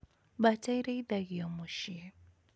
Mbata irĩithagio mũciĩ